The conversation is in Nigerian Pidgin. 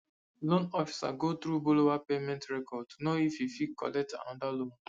loan officer go through borrower payment record to know if e fit collect another loan